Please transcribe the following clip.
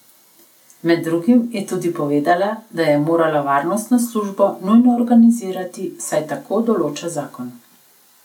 Med drugim je tudi povedala, da je morala varnostno službo nujno organizirati, saj tako določa zakon.